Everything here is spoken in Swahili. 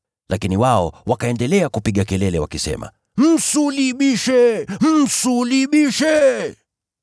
Lakini wao wakaendelea kupiga kelele wakisema, “Msulubishe! Msulubishe!”